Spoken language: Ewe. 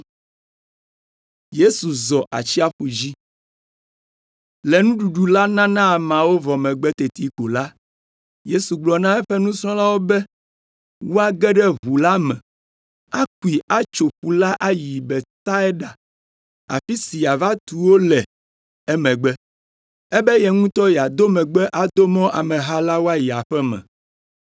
Le nuɖuɖu la nana ameawo vɔ megbe teti ko la, Yesu gblɔ na eƒe nusrɔ̃lawo be woage ɖe ʋu la me, akui atso ƒu la ayi Betsaida afi si yeava tu wo le emegbe. Ebe ye ŋutɔ yeado megbe ado mɔ ameha la woayi aƒe me.